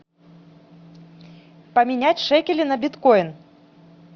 поменять шекели на биткоин